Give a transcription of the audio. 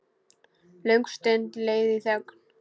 Löng stund leið í þögn.